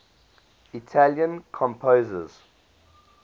italian composers